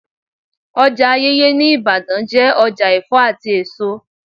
Ọjà Ayeye ní Ibadan jẹ́ ọjà Ẹ̀fọ́ àti èso.